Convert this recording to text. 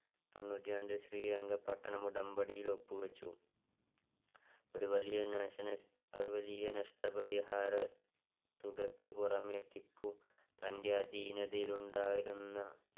തൊണ്ണൂറ്റി രണ്ടിൽ ശ്രീരംഗപട്ടണഉടമ്പടിയില് ഒപ്പ് വച്ചു ഒരു വലിയ നഷ്ട നഷ്ടപരിഹാരതുകയ്ക്ക് പുറമെ ടിപ്പു തന്റെ അധീനതയിൽ ഉണ്ടായിരുന്ന